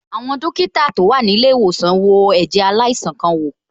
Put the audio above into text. Àwọn dókítà tó wà ní ilé ìwòsàn wo ẹ̀jẹ̀ aláìsàn kan wò.